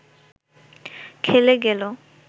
খেলে গেল